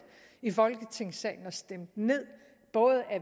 i folketingssalen og stemt ned af både